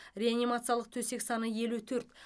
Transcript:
реанимациялық төсек саны елу төрт